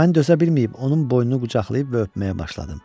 Mən dözə bilməyib onun boynunu qucaqlayıb və öpməyə başladım.